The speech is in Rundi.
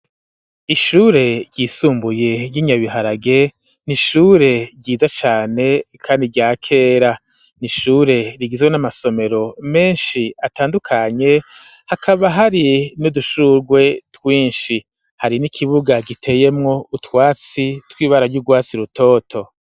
Ishure ryisumbuye, ry'inyabiharage, nishure ryiza cane kandi rya kera nishure rigizwe n'amasomero menshi atandukanye, hakaba hari n'udushurwe twinshi ,hari n'ikibuga giteyemwo utwatsi tw'ibara ry'ugwatsi rutoto.